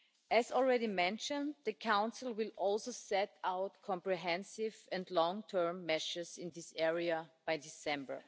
As already mentioned, the Council will also set out comprehensive and long term measures in this area by December.